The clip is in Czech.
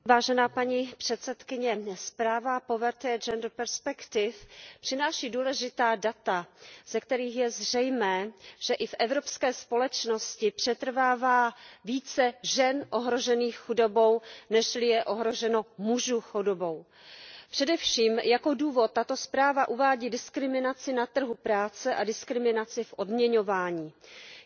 Zpráva o chudobě z hlediska rovnosti žen a mužů přináší důležitá data, ze kterých je zřejmé, že i v evropské společnosti přetrvává více žen ohrožených chudobou, nežli je ohroženo mužů chudobou. Především jako důvod tato zpráva uvádí diskriminaci na trhu práce a diskriminaci v odměňování. Je to již šestá zpráva